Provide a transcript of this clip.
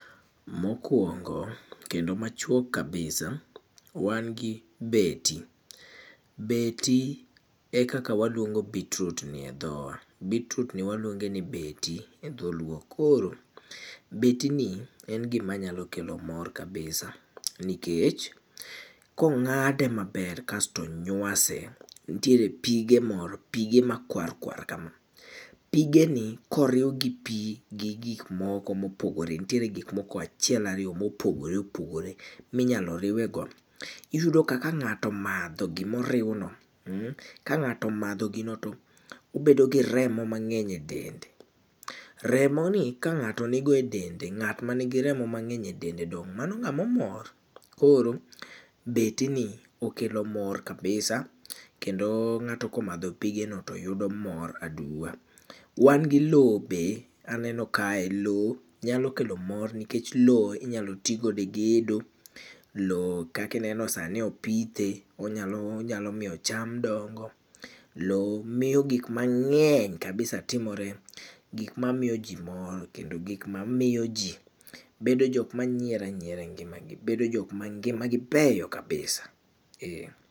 Mokwongo, kendo machuok kabisa, wan gi beti. Beti, ekaka waluongo beetroot ni e dhowa. beetroot ni waluongo ni beti e dholuo koro, beti ni en gimanyalo kelo mor kabisa. Nikech, kong'ade maber kasto onywase, nitiere pige moro pige makwarkwar kama. Pige ni, koriw gi pii gi gik moko mopogore, nitiere gik moko achiel ariyo mopogore opogore minyalo riwego. Iyudo ka kang'ato omadho gimoriwno um ka ng'ato omadho gino to obedo gi remo mang'eny e dende. Remoni ka ng'ato nigo e dende, ng'at ma nigi remo mang'eny e dende dong' mano ng'amomor. Koro, beti ni okelo mor kabisa, kendo ng'ato komadho pige no to yudo mor aduwa. Wan gi loo be, aneno kae loo nyalo kelo mor nikech loo inyalo tigodo e gedo, loo kaki ineno sani opithe, onyalo onyalo miyo cham dongo. Loo miyo gik mang'eny kabisa timore, gik mamiyo jii mor kendo gik mamiyo jii bedo jok manyiero anyiera e ngimagi. Bedo jok ma ngimagi beyo kabisa um